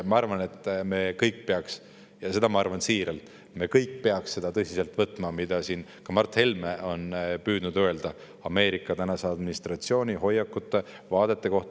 Ma arvan, et me kõik peaksime – ja seda ma arvan siiralt – seda tõsiselt võtma, mida ka Mart Helme on püüdnud öelda Ameerika praeguse administratsiooni hoiakute ja vaadete kohta.